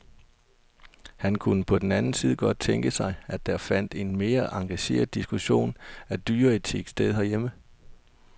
Han kunne på den anden side godt tænke sig, at der fandt en mere engageret diskussion af dyreetik sted herhjemme.